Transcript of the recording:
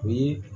O ye